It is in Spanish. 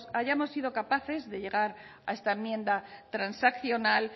hayamos sido capaces de llegar a esta enmienda transaccional